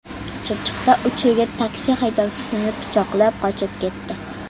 Chirchiqda uch yigit taksi haydovchisini pichoqlab, qochib ketdi.